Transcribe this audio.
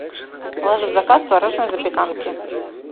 положи в заказ творожной запеканки